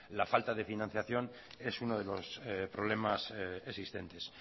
la falta de financiación es uno de los problemas existentes